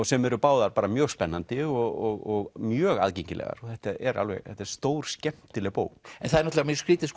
sem eru báðar bara mjög spennandi og mjög aðgengilegar þetta er þetta er stórskemmtileg bók það er náttúrulega skrýtið